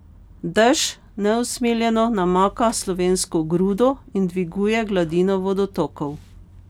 Dež neusmiljeno namaka slovensko grudo in dviguje gladino vodotokov.